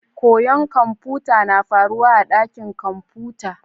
Koyon kamfuta na faruwa a dakin kamfuta.